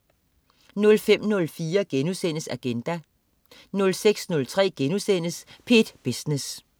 05.04 Agenda* 06.03 P1 Business*